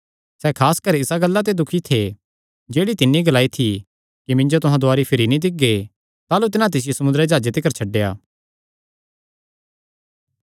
सैह़ खास कर इसा गल्ला ते दुखी थे जेह्ड़ी तिन्नी ग्लाई थी कि तुहां मिन्जो दुवारी भिरी नीं दिक्खगे ताह़लू तिन्हां तिसियो समुंदरी जाह्जे तिकर छड्डेया